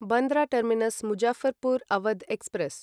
Bandra terminus Muzaffarpur Awadh express